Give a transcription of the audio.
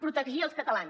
protegir els catalans